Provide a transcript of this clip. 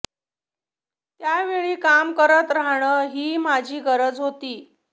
त्यावेळी काम करत राहणं ही माझी गरज होती